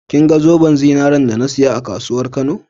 kinga zoben zinaren da na siya a kasuwan kano?